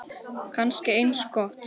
Kannski eins gott.